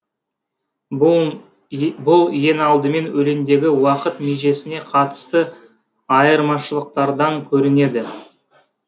бұл бұл ең алдымен өлеңдегі уақыт межесіне қатысты айырмашылықтардан көрінеді